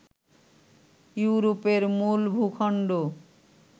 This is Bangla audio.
ইউরোপের মূল ভূখণ্ড